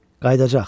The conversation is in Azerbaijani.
Qayıdacaq.